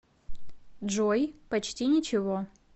джой почти ничего